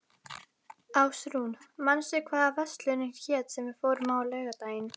Ásrún, manstu hvað verslunin hét sem við fórum í á laugardaginn?